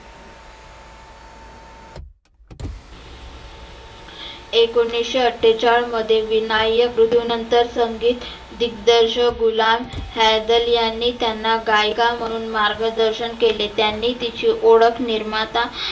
एकोणीसशे अठ्ठेचाळ मध्ये विनायक मृत्यु नंतर संगित दिग्दर्शक गुलाम गैदर यांनी त्यांना गायीका म्हणुन त्यांना मार्गदर्शन केले. त्यांनी तिची ओळख निर्माता